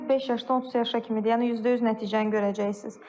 Bizdə 5 yaşdan 30 yaşa kimidir, yəni 100% nəticəni görəcəksiniz.